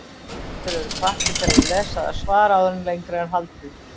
Lesendur eru hvattir til að lesa það svar áður en lengra er haldið.